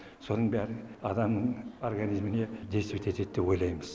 соның бәрі адам организміне действойтетеді деп ойлаймыз